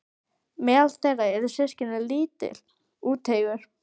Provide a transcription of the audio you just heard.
Meðal þeirra eru systkini- lítill, úteygur